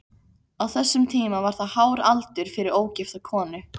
Á þessum tíma var það hár aldur fyrir ógifta konu.